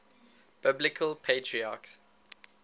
biblical patriarchs